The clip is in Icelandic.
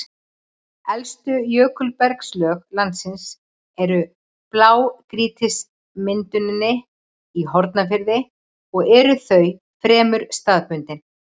Elstu jökulbergslög landsins eru í blágrýtismynduninni í Hornafirði og eru þau fremur staðbundin.